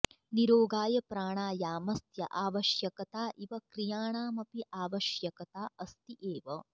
निरोगाय प्राणायामस्य आवश्यकता इव क्रियाणामपि आवश्यकता अस्ति एव